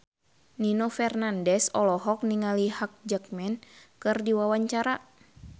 Nino Fernandez olohok ningali Hugh Jackman keur diwawancara